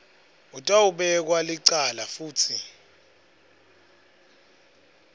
utawubekwa licala futsi